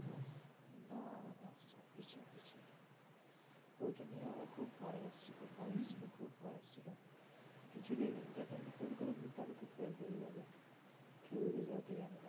ওইটা নিয়ে আমার খুব ভয় এসেছিল ভয় এসছিল কিছু যদি internal এ fail করে যাই তাহলে তো fail হয়ে যাবে theory তে যতই আনিনা